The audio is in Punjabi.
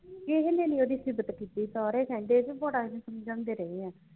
ਕਿਹੇ ਨੇ ਨਹੀਂ ਉਹਦੀ ਸਿਫਤ ਕੀਤੀ ਸਾਰੇ ਕਹਿੰਦੇ ਕਿ ਬੜਾ ਅਸੀਂ ਸਮਝਾਂਦੇ ਰਹੇ ਆ